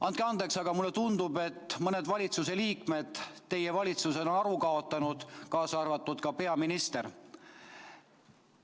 Andke andeks, aga mulle tundub, et mõned valitsuse liikmed teie valitsuses on aru kaotanud, kaasa arvatud peaminister.